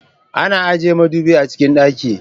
Ana ajiye madubi a cikin dakin.